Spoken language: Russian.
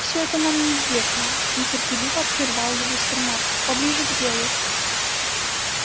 все это нам известно нетерпеливо прервал его сермак поближе к делу